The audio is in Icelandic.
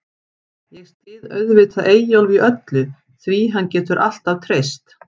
Ég styð auðvitað Eyjólf í öllu, því getur hann alltaf treyst.